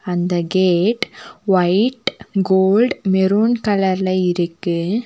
அந்த gate white gold maroon கலர்ல இருக்கு.